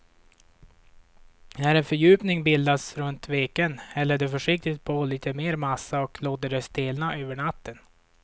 När en fördjupning bildats runt veken häller du försiktigt på lite mer massa och låter det stelna över natten.